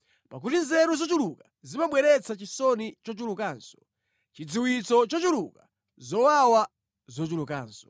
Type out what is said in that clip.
Pakuti nzeru zochuluka zimabweretsa chisoni chochulukanso: chidziwitso chochuluka, zowawa zochulukanso.